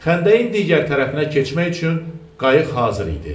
Xəndəyin digər tərəfinə keçmək üçün qayıq hazır idi.